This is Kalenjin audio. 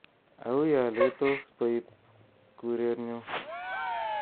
Auyo letos boib kuretnyu